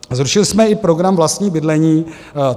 Zrušili jsme i program Vlastní bydlení.